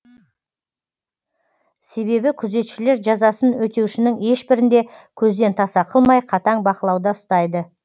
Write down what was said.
себебі күзетшілер жазасын өтеушінің ешбірін де көзден таса қылмай қатаң бақылауда ұстайды